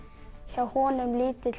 hjá honum